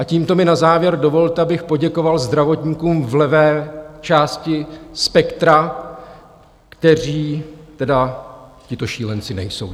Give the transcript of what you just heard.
A tímto mi na závěr dovolte, abych poděkoval zdravotníkům v levé části spektra, kteří tedy těmito šílenci nejsou.